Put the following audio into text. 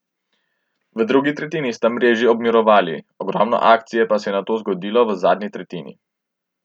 V drugi tretjini sta mreži obmirovali, ogromno akcije se je nato zgodilo v zadnji tretjini.